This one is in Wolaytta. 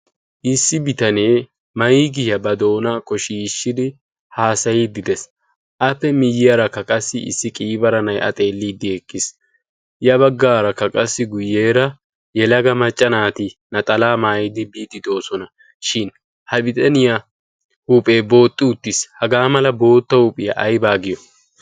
issi bitanee maikiyaa ba doona koshiishshidi haasayiiddi dees. appe miyyiyaarakka qassi issi qiibara nai77a xeelliiddi eqqiis. ya baggaarakka qassi guyyeera yelaga maccanaati naxalaa maayidi biiddidoosona shin ha bitaniyaa huuphee booxxi uttiis. hagaa mala bootta huuphiyaa aibaa giyo?